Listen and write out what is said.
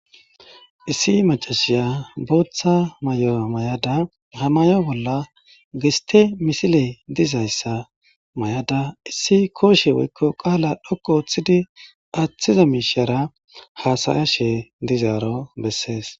Issi macasiya Botha mayo mayida ha maya bolla giste misiley dizaysa mayada issi koshe woyko qala dhoqu othidi athiza mishara hasayishe dizaro besese